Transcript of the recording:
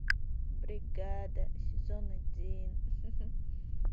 бригада сезон один